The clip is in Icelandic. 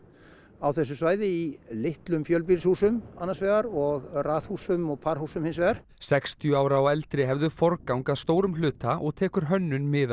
á þessu svæði í litlum fjölbýlishúsum annars vegar og raðhúsum og parhúsum hins vegar sextíu ára og eldri hefðu forgang að stórum hluta og tekur hönnun mið